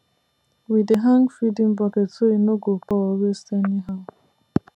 we dey hang feeding bucket so e no go pour or waste anyhow